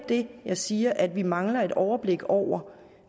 det jeg siger er at vi mangler et overblik over